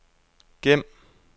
gem